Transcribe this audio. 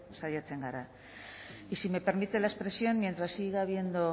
saiatzen gara y si me permite la expresión mientras siga habiendo